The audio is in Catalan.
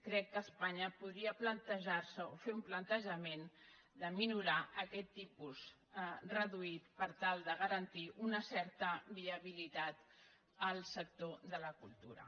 crec que espanya podria plantejar se o fer un plantejament de minorar aquest tipus reduït per tal de garantir una certa viabilitat al sector de la cultura